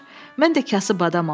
Mən də kasıb adamam.